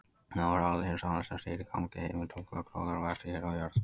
Þá er alheimssálin, sem stýrir gangi himintungla og gróðri og vexti hér á jörð.